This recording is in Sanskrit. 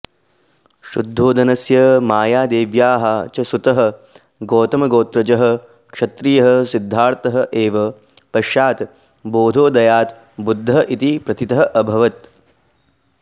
शुद्धोदनस्य मायादेव्याः च सुतः गौतमगोत्रजः क्षत्रियः सिद्धार्थः एव पश्चात् बोधोदयात् बुद्धः इति प्रथितः अभवत्